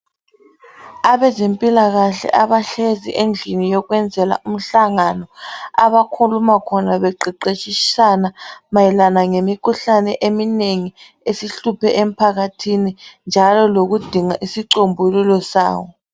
Abezempilakahle abahlezi endlini yokwenzela umhlangano. Abakhuluma khona beqeqeshisana mayelana ngemkhuhlane eminengi esihluphe emphakathini. Njalo lokudinga isicombululo sawo.